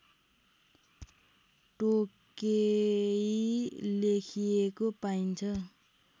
टोकेई लेखिएको पाइन्छ